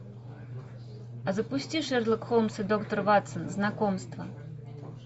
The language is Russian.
запусти шерлок холмс и доктор ватсон знакомства